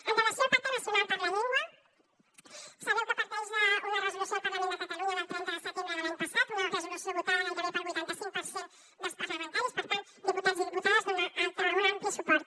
en relació amb el pacte nacional per la llengua sabeu que parteix d’una resolució del parlament de catalunya del trenta de setembre de l’any passat una resolució votada gairebé pel vuitanta cinc per cent dels parlamentaris per tant diputats i diputades amb un ampli suport